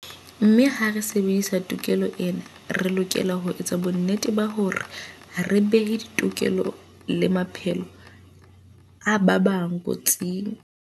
Mme ha re sebedisa tokelo ena, re lokela ho etsa bonnete ba hore ha re behe ditokelo le maphelo a ba bang kotsing.